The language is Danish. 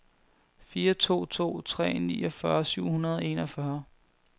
fire to to tre niogfyrre syv hundrede og enogfyrre